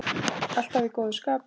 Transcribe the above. Alltaf í góðu skapi.